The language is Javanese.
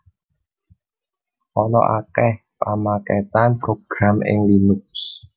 Ana akèh pamakètan program ing Linux